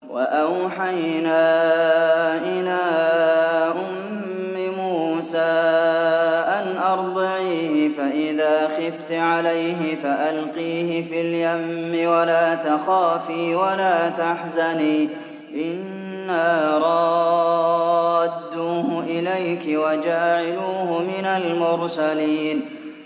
وَأَوْحَيْنَا إِلَىٰ أُمِّ مُوسَىٰ أَنْ أَرْضِعِيهِ ۖ فَإِذَا خِفْتِ عَلَيْهِ فَأَلْقِيهِ فِي الْيَمِّ وَلَا تَخَافِي وَلَا تَحْزَنِي ۖ إِنَّا رَادُّوهُ إِلَيْكِ وَجَاعِلُوهُ مِنَ الْمُرْسَلِينَ